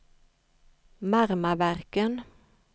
Marmaverken